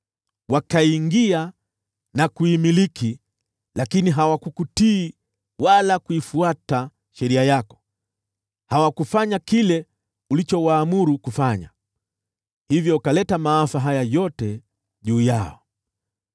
Waliingia na kuimiliki, lakini hawakukutii wala kuifuata sheria yako. Hawakufanya kile ulichowaamuru kufanya. Hivyo ukaleta maafa haya yote juu yao.